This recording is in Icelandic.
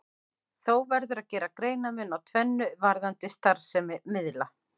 Þó verður að gera greinarmun á tvennu varðandi starfsemi miðla.